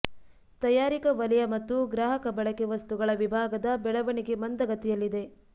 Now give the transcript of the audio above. ತಯಾರಿಕಾ ವಲಯ ಮತ್ತು ಗ್ರಾಹಕ ಬಳಕೆ ವಸ್ತುಗಳ ವಿಭಾಗದ ಬೆಳವಣಿಗೆ ಮಂದಗತಿಯಲ್ಲಿದೆ